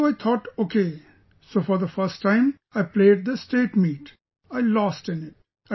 So I thought okay, so the first time I played the State Meet, I lost in it